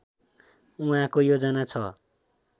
उहाँको योजना छ